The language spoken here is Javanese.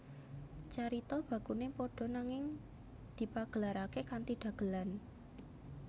Carita bakune padha nanging dipagelarake kanthi dagelan